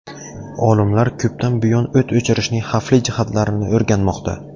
Olimlar ko‘pdan buyon o‘t o‘chirishning xavfli jihatlarini o‘rganmoqda.